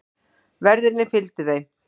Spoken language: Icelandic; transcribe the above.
Verðirnir fylgdu þeim.